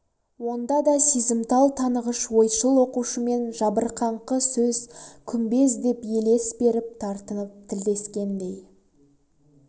онда да сезімтал танығыш ойшыл оқушымен жабырқаңқы сөз күмбез деп елес беріп тартынып тілдескендей